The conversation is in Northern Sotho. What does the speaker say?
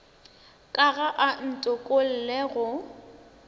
ka ga a ntokolle go